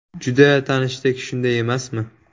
Juda tanishdek, shunday emasmi?